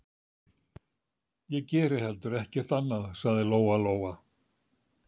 Ég geri heldur ekkert annað, sagði Lóa Lóa.